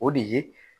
O de ye